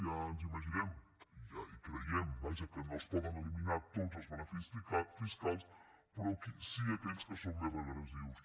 ja ens imaginem i ho creiem vaja que no es poden eliminar tots els beneficis fiscals però sí aquells que són més regressius